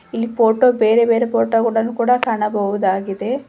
ಇಲ್ಲಿ ಫೋಟೋ ಬೇರೆ ಬೇರೆ ಫೋಟೋ ಕೂಡ ಕಾಣಬಹುದಾಗಿದೆ.